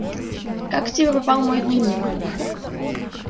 как к тебе попал мой дневник